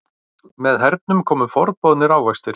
Með hernum komu forboðnir ávextir.